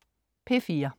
P4: